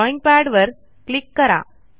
drawing पॅडवर click करा